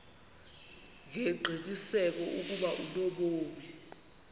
ngengqiniseko ukuba unobomi